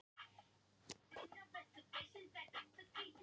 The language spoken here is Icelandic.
Ökumaðurinn ók af vettvangi